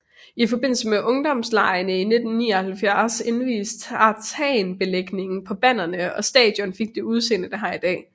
I forbindelse med Ungdomslegene i 1979 invies tartanbelægningen på banerne og stadion fik det udseende det har i dag